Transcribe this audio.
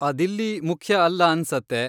ಅದಿಲ್ಲಿ ಮುಖ್ಯ ಅಲ್ಲ ಅನ್ಸತ್ತೆ.